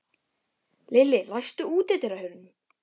Lilli, læstu útidyrunum.